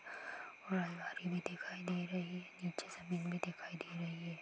दिखाई दे रही है नीचे जमीन भी दिखाई दे रही है।